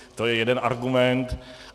To je jeden argument.